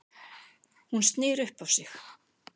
Hún snýr upp á sig.